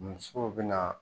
Sugu bɛ na.